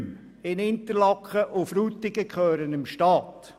Die Räume in Interlaken und Frutigen gehören dem Staat.